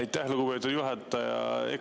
Aitäh, lugupeetud juhataja!